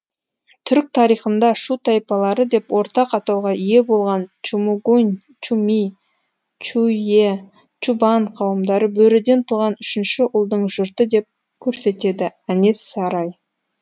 түрік тарихында шу тайпалары деп ортақ атауға ие болған чумчугунь чуми чуюе чубан қауымдары бөріден туған үшінші ұлдың жұрты деп көрсетеді әнес сарай